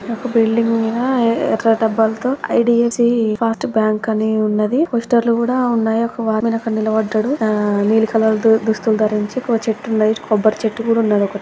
ఒక బిల్డింగ్ మీద ఎర్ర డబ్బాలతో I D F C. First bank అని ఉన్నది. పోస్టర్లు కూడా ఉన్నాయి. ఒక వాచ్ మాన్ అక్కడ నిలబడ్డాడు. నీల్లి కలర్దుస్తులు ధరించి చెట్టు ఉంది కొబ్బరి చెట్టు కూడా ఉన్నారు. ఒక